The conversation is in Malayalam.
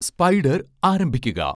സ്പൈഡർ ആരംഭിക്കുക